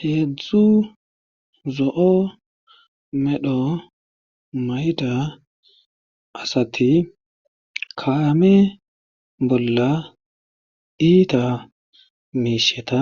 Heedzdzu zo7o medho mayida asati kaame bolla iita miishsheta